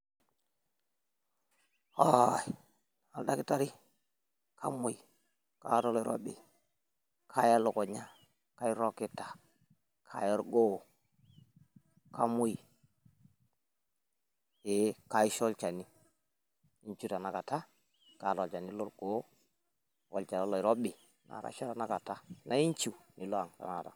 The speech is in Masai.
Haaai! oldakitari kamuoi, kaaya eleukunya, kairrrogita, kaaya orgoo kamuoi. Ee kaisho olchani iinciu tanakata amu kaata olchani lorgoo olchani lo oloirobi naa akaisho tanakata naa ainchiu nilo aang', tanakata.